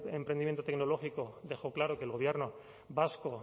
de emprendimiento tecnológico dejó claro que el gobierno vasco